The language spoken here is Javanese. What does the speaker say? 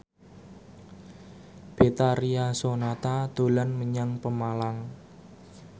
Betharia Sonata dolan menyang Pemalang